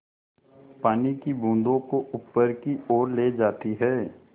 पानी की बूँदों को ऊपर की ओर ले जाती है